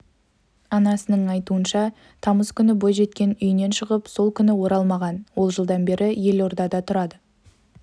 анасының айтуынша тамыз күні бойжеткен үйінен шығып сол күйі оралмаған ол жылдан бері елордада тұрады